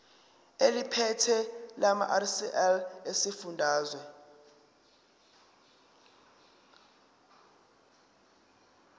eliphethe lamarcl esifundazwe